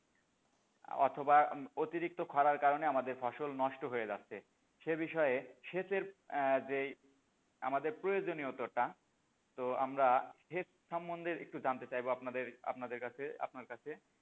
অথবা অতিরিক্ত খরার কারণে আমাদের ফসল নষ্ট হয়ে যাচ্ছে সে বিষয়ে সেচের এহ যেই আমাদের প্রয়োজনীয়তোটা তো আমরা সেচ সম্বন্ধে একটু জানতে চাইবো, আপনাদের, আপনাদের কাছে, আপনার কাছে,